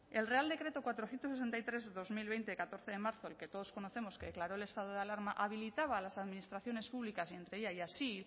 el real decreto cuatrocientos sesenta y tres barra dos mil veinte de catorce de marzo el que todos conocemos que declaró el estado de alarma habilitaba a las administraciones públicas y entre ellas y así